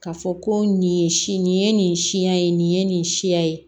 Ka fɔ ko nin ye si nin ye nin siya ye nin ye nin siya ye